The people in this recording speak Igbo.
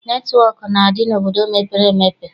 Netịwọk na-adị n'obodo mepere emepe.